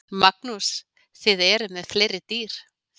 Magnús: Þið eruð með fleiri dýr?